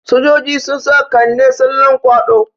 Sojoji sun sa Kande tsallan kwaɗo.